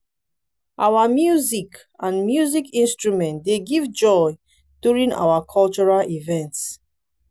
our music and music instrument dey give joy during our cultural events.